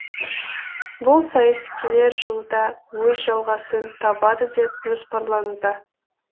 бұл сайыс келер жылы да өз жалғасын табады деп жоспарлануда